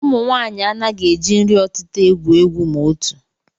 Ụmụnwaanyị anaghị eji nri ọtịta egwu egwu ma otu